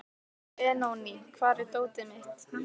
Benóný, hvar er dótið mitt?